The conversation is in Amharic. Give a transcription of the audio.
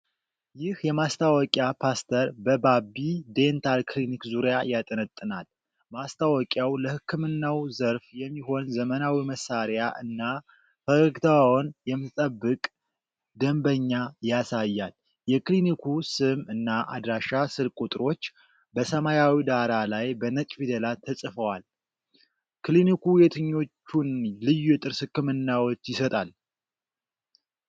ይህ የማስታወቂያ ፖስተር በባቢ ዴንታል ክሊኒክ ዙሪያ ያጠነጥናል። ማስታወቂያው ለህክምናው ዘርፍ የሚሆን ዘመናዊ መሳሪያ እና ፈገግታዋን የምትጠብቅ ደንበኛ ያሳያል። የክሊኒኩ ስም እና አድራሻ ስልክ ቁጥሮች በሰማያዊ ዳራ ላይ በነጭ ፊደላት ተጽፈዋል። ክሊኒኩ የትኞቹን ልዩ የጥርስ ህክምናዎች ይሰጣል?